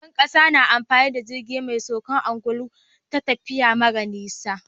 Shugaban ƙasa na amfani da jirgi me saukar angulu a tafiya mara nisa